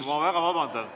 Ma väga vabandan.